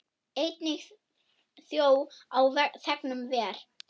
Einnig þjó á þegnum ver.